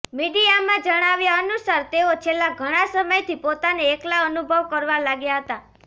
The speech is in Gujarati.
મીડિયામાં જણાવ્યા અનુસાર તેઓ છેલ્લા ઘણા સમયથી પોતાને એકલા અનુભવ કરવા લાગ્યા હતા